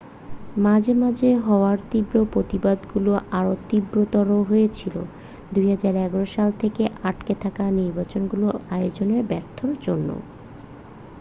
মাঝে মাঝে হওয়া তীব্র প্রতিবাদগুলো আরও তীব্রতর হয়েছিল 2011 সাল থেকে আটকে থাকা নির্বাচনগুলো আয়োজনে ব্যর্থতার জন্য